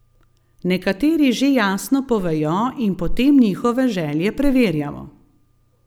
Nekateri že jasno povejo in potem njihove želje preverjamo.